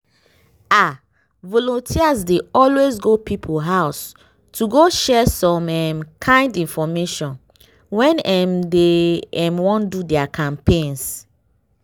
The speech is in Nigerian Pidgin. ah! volunteers dey always go people house to go share some um kind infomation when um dey um wan do their campaigns.